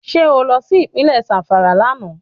Ṣé o lọ sí Ìpínlẹ̀ Zàmfàrà lánàá